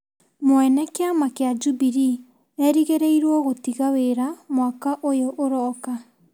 Mwene kĩama kĩa Jubilee erĩgĩrĩirwo gũtiga wĩra mwaka ũyũ ũroka.